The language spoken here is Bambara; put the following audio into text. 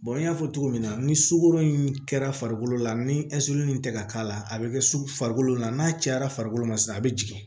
n y'a fɔ cogo min na ni sukoro in kɛra farikolo la ni zirin in tɛ ka k'a la a bɛ kɛ farikolo la n'a cayara farikolo ma se a bɛ jigin